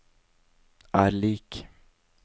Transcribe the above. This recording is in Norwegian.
er lik